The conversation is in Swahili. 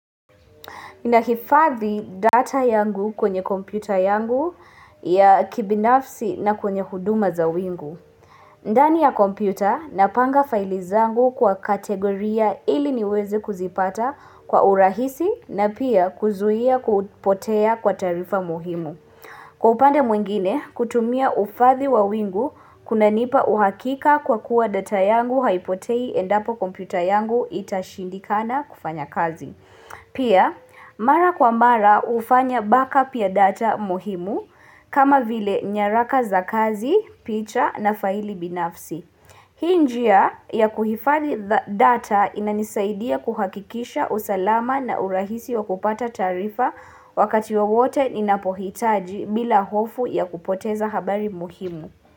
Ninahifathi data yangu kwenye kompyuta yangu ya kibinafsi na kwenye huduma za wingu. Ndani ya kompyuta napanga faili zangu kwa kategoria ili niwezi kuzipata kwa urahisi na pia kuzuia kupotea kwa taarifa muhimu. Kwa upande mwingine, kutumia uhifadhi wa wingu kunanipa uhakika kwa kuwa data yangu haipotei endapo kompyuta yangu itashindikana kufanya kazi. Pia mara kwa mara hufanya backup ya data muhimu kama vile nyaraka za kazi, picha na faili binafsi. Hii njia ya kuhifadhi data inanisaidia kuhakikisha usalama na urahisi wa kupata taarifa wakati wowote ninapohitaji bila hofu ya kupoteza habari muhimu.